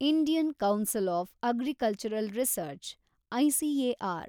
Indian council of agricultural research , ICAR